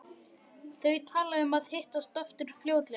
Þau tala um að hittast aftur fljótlega.